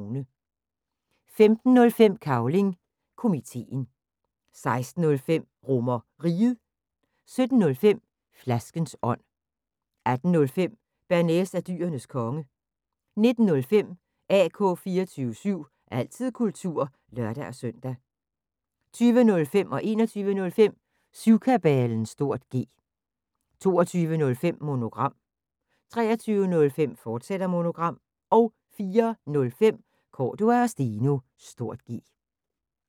15:05: Cavling Komiteen 16:05: RomerRiget 17:05: Flaskens ånd 18:05: Bearnaise er Dyrenes Konge 19:05: AK 24syv – altid kultur (lør-søn) 20:05: Syvkabalen (G) 21:05: Syvkabalen (G) 22:05: Monogram 23:05: Monogram, fortsat 04:05: Cordua & Steno (G)